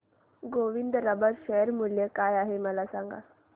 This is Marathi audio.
गोविंद रबर शेअर मूल्य काय आहे मला सांगा